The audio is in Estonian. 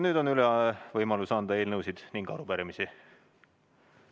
Nüüd on võimalus üle anda eelnõusid ning arupärimisi.